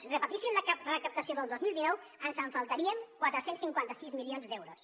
si repetissin la recaptació del dos mil dinou ens faltarien quatre cents i cinquanta sis milions d’euros